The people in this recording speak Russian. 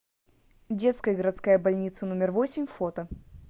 детская городская больница номер восемь фото